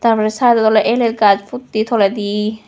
tar porey side dod oley el el gaj puttey toledi.